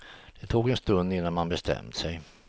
Det tog en stund innan man bestämt sig.